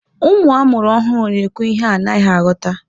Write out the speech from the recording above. Ụmụ amụrụ ọhụrụ na-ekwu ihe a naghị aghọta.